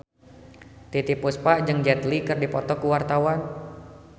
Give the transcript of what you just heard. Titiek Puspa jeung Jet Li keur dipoto ku wartawan